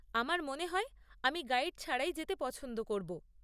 আমার মনে হয় আমি গাইড ছাড়াই যেতে পছন্দ করব।